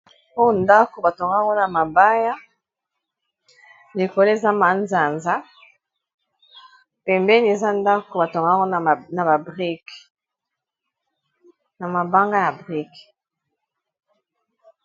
Oyo ndako batonga ngo na mabaya likolo eza manzanza pembeni eza ndako batonga ngo na na brique mabanga ya ba brique.